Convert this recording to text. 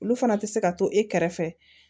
Olu fana tɛ se ka to e kɛrɛfɛ